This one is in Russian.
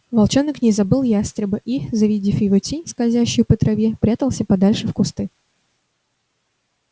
волчонок не забыл ястреба и завидев его тень скользящую по траве прятался подальше в кусты